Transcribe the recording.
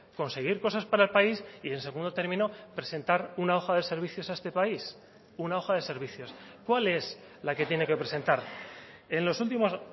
conseguir cosas para el país y en segundo término presentar una hoja de servicios a este país una hoja de servicios cuál es la que tiene que presentar en los últimos